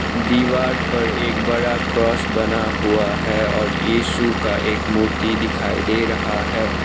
दीवार पर एक बड़ा क्रॉस बना हुआ है और येसु का एक मूर्ति दिखाई दे रहा है।